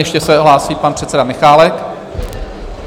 Ještě se hlásí pan předseda Michálek.